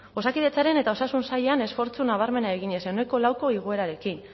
osakidetzaren eta osasun sailean esfortzu nabarmena eginez ko igoerarekin